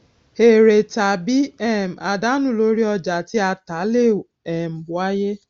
èrè tàbí um àdánù lóri ọjà tí a tà lè um wáyé